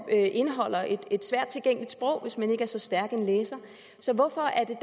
indeholder et svært tilgængeligt sprog hvis man ikke er så stærk en læser så hvorfor er det